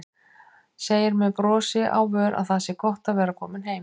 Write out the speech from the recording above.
Segir með brosi á vör að það sé gott að vera komin heim.